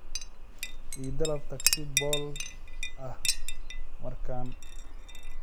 I dalbo tagsi bool ah markan